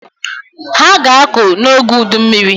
Ha ga-akụ n'oge udummiri.